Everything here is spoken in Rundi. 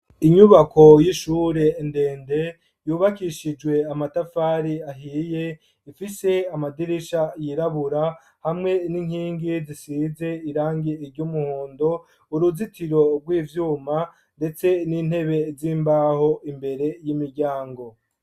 Inyubako y'ishure ndende yubakishijwe amatafari ahiye ifise amadirisha yirabura hamwe n'inkingi zisize irangi iry'umuhondo. Uruzitiro rw'ivyuma ndetse n'intebe z'imbaho imbere y'imiryango.